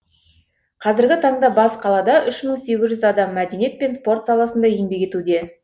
қазіргі таңда бас қалада үш мың сегіз жүз адам мәдениет пен спорт саласында еңбек етуде